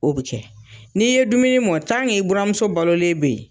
O bɛ kɛ ; n'i ye dumuni mɔn i buranmuso bɛ yen.